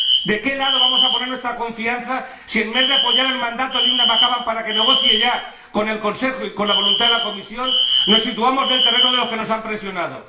¿De qué lado vamos a poner nuestra confianza si, en vez de apoyar el mandato de Linda McAvan para que negocie ya con el Consejo y con la voluntad de la Comisión, nos situamos en el terreno de los que nos han presionado?